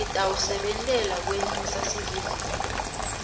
sitawusebentela kwenyusa sivinini